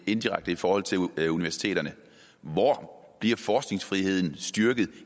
indirekte i forhold til universiteterne hvor bliver forskningsfriheden styrket